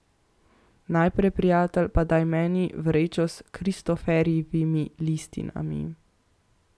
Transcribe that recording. Najprej, prijatelj, pa daj meni vrečo s Kristoforjevimi listinami.